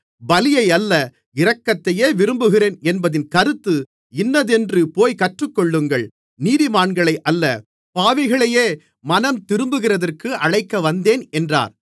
பலியையல்ல இரக்கத்தையே விரும்புகிறேன் என்பதின் கருத்து இன்னதென்று போய்க் கற்றுக்கொள்ளுங்கள் நீதிமான்களையல்ல பாவிகளையே மனந்திரும்புகிறதற்கு அழைக்கவந்தேன் என்றார்